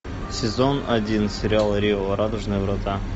сезон один сериал рио радужные врата